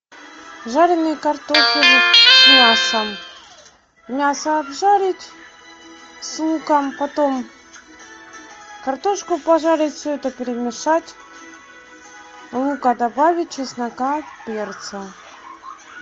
жаренный картофель с мясом мясо обжарить с луком потом картошку пожарить все это перемешать лука добавить чеснока перца